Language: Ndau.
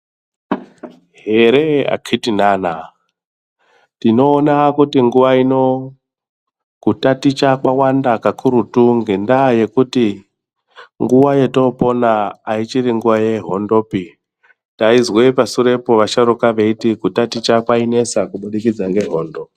Here akhiti nana tinoona kuti nguva ino kutaticha kwavanda kakurutu ngendaa yekuti nguva yotopona haichiri nguva yehondopi. Taizwe pasurepo vasharuka veiti kutaticha kwainesa kubudikidza ngehondo.